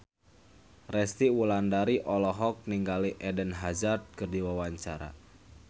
Resty Wulandari olohok ningali Eden Hazard keur diwawancara